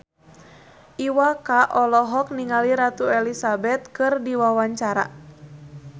Iwa K olohok ningali Ratu Elizabeth keur diwawancara